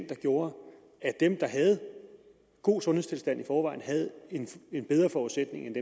der gjorde at dem der havde en god sundhedstilstand i forvejen havde en bedre forudsætning end